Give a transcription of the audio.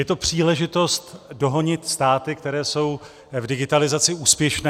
Je to příležitost dohonit státy, které jsou v digitalizaci úspěšné.